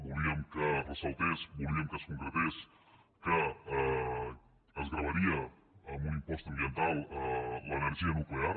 volíem que ressaltés volíem que es concretés que es gravaria amb un impost ambiental l’energia nuclear